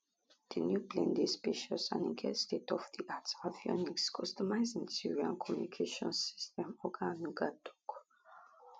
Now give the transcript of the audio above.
di new plane dey spacious and e get stateofdiart avionics customized interior and communications system oga onanuga tok